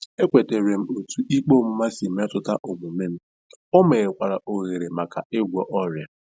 Ekwetara m otú ikpe ọmụma si metụta omume m, o meghekwara ohere maka ịgwọ ọrịa.